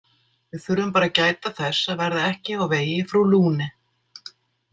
Við þurfum bara að gæta þess að verða ekki á vegi frú Lune.